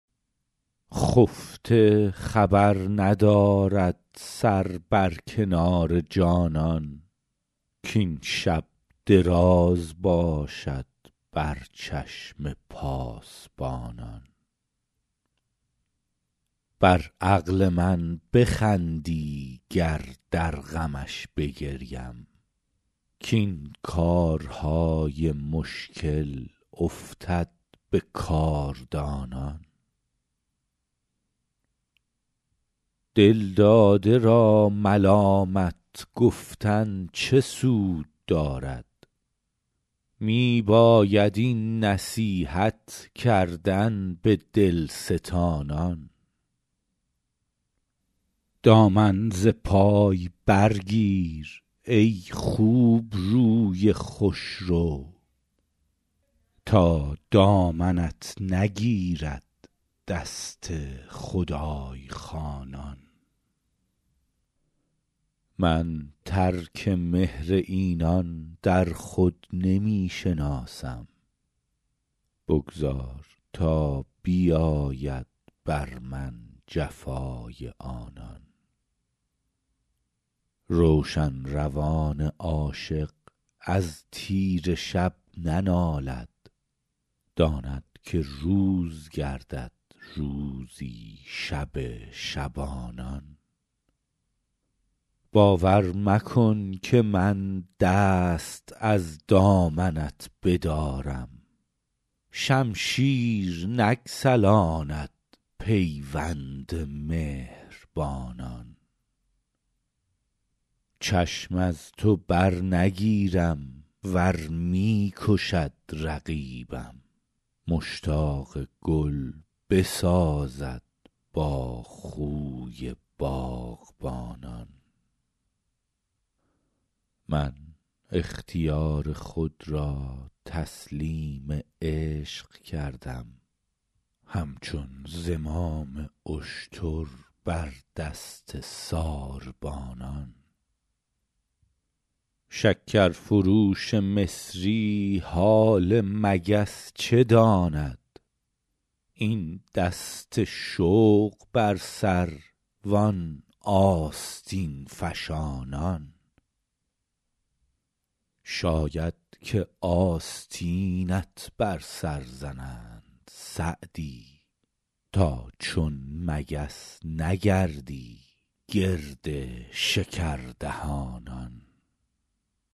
خفته خبر ندارد سر بر کنار جانان کاین شب دراز باشد بر چشم پاسبانان بر عقل من بخندی گر در غمش بگریم کاین کارهای مشکل افتد به کاردانان دلداده را ملامت گفتن چه سود دارد می باید این نصیحت کردن به دلستانان دامن ز پای برگیر ای خوبروی خوشرو تا دامنت نگیرد دست خدای خوانان من ترک مهر اینان در خود نمی شناسم بگذار تا بیاید بر من جفای آنان روشن روان عاشق از تیره شب ننالد داند که روز گردد روزی شب شبانان باور مکن که من دست از دامنت بدارم شمشیر نگسلاند پیوند مهربانان چشم از تو برنگیرم ور می کشد رقیبم مشتاق گل بسازد با خوی باغبانان من اختیار خود را تسلیم عشق کردم همچون زمام اشتر بر دست ساربانان شکرفروش مصری حال مگس چه داند این دست شوق بر سر وان آستین فشانان شاید که آستینت بر سر زنند سعدی تا چون مگس نگردی گرد شکردهانان